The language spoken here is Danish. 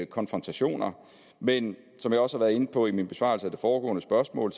konfrontationer men som jeg også har været inde på i min besvarelse af det foregående spørgsmål